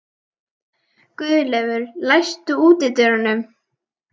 Guðleifur, læstu útidyrunum.